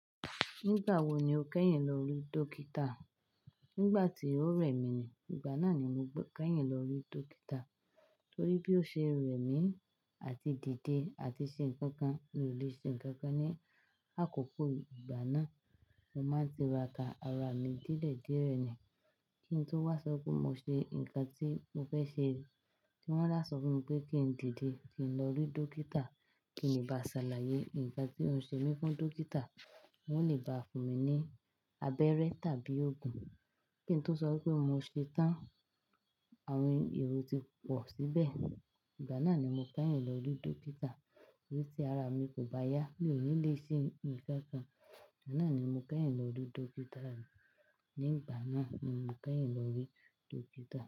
Nígbà wo ni o kẹ́yìn lọ rí dókítà? Nígbà tí ó rẹ̀ mí ni, ìgbà náà ni mo kẹ́yìn lọ rí dókítà. Torí bí ó ṣe rẹ̀ mí àti dìde àti ṣe nǹkan kan, mi ò lè ṣe nǹkan kan ní àkókò ìgbà náà. Mo máa ń ti ra ka ara mi dílẹ̀ díẹ̀ rẹ́ ni kí n tó wá sọ pé mo ṣe nǹkan tí mo fẹ́ ṣe. Wọ́n ṣá sọ fún mi pé kí n dìde kí n lọ rí dókítà kí n ba ṣàlàyé ǹkan tí ó ń ṣe mí fún dókítà, wọ́n lè baà fún mi ní abẹ́rẹ́ tàbí òògùn. Kí n tó sọ wípé mo ṣe tán, àwọn èrò ti pọ̀ síbẹ̀. Ìgbà náà ni mo kẹ́yìn lọ rí dókítà. Torí tí ara mi kò bá yá, mi ò ní lè ṣe nǹkan kan. Ìgbà náà ni mo kẹ́yìn lọ rí dókítà. Ní ìgbà náà ni mo kẹ́yìn lọ rí dókítà.